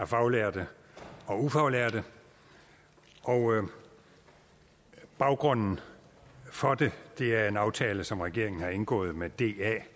faglærte og ufaglærte og baggrunden for det er en aftale som regeringen har indgået med da